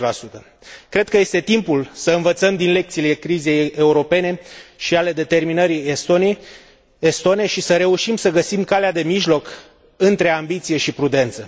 60. Cred că este timpul să învățăm din lecțiile crizei europene și ale determinării estone și să reușim să găsim calea de mijloc între ambiție și prudență.